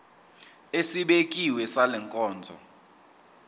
esibekiwe sale nkonzo